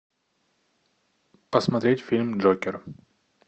посмотреть фильм джокер